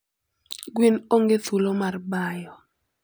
Gwen onge thuolo mar bayo.